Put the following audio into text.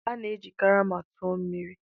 A na-eji karama tụọ mmiri.